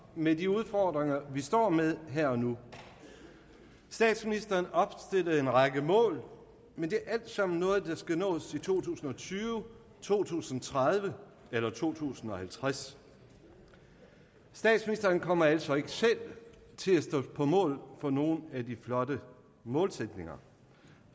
med de udfordringer vi står med her og nu statsministeren opstillede en række mål men det er alt sammen noget der skal nås i to tusind og tyve to tusind og tredive eller to tusind og halvtreds statsministeren kommer altså ikke selv til at stå på mål for nogen af de flotte målsætninger